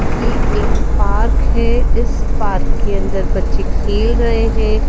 ये एक पार्क है इस पार्क के अंदर बच्चे खेल रहे हैं।